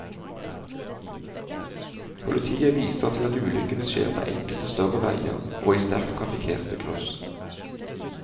Politiet viser til at ulykkene skjer på enkelte større veier og i sterkt trafikkerte kryss.